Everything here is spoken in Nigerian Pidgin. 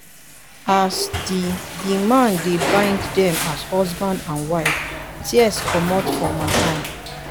as the the man dey bind dem as husband and wife tears comot for my eye.